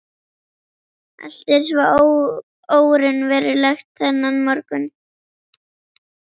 Allt er svo óraunverulegt þennan morgun.